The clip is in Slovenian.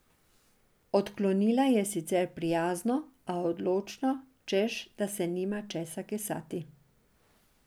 Odklonila je sicer prijazno, a odločno, češ da se nima česa kesati.